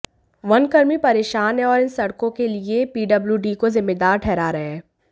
one कर्मी परेशान हैं और इन सड़कों के लिए पीडब्ल्यूडी को जिम्मेदार ठहरा रहे हैं